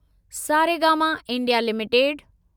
Saregama India limited